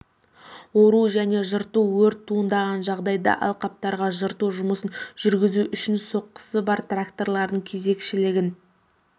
ору және жырту өрт туындаған жағдайда алқаптарға жырту жұмыстарын жүргізу үшін соқасы бар трактордың кезекшілігін